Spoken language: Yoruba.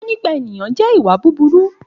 Òfófó nípa ènìyàn jẹ́ ìwà búburú